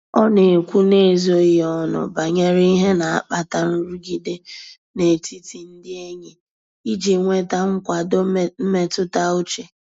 Ọ na-ekwu n'ezoghị ọnụ banyere ihe na-akpata nrụgide n'etiti ndị enyi iji nweta nkwado mmetụta uche.